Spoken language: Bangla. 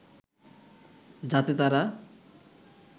যাতে তারা